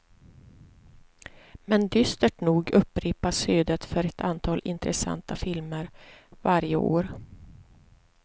Men dystert nog upprepas ödet för ett antal intressanta filmer varje år.